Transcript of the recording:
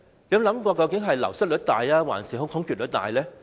究竟是流失率大，還是空缺率大呢？